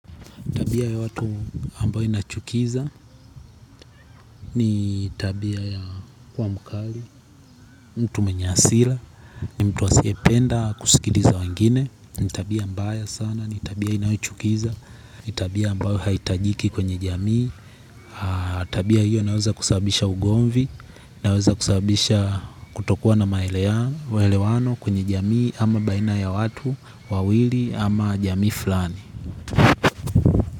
Tabia ya watu ambayo inachukiza ni tabia ya kuwa mkali, mtu mwenye hasira, ni mtu asiyependa kusikiliza wengine. Ni tabia mbaya sana ni tabia inayochukiza, ni tabia ambayo haihitajiki kwenye jamii tabia hiyo inaweza kusababisha ugomvi, inaweza kusababisha kutokuwa na maelewano kwenye jamii ama baina ya watu wawili ama jamii fulani.